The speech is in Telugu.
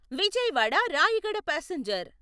విజయవాడ రాయగడ పాసెంజర్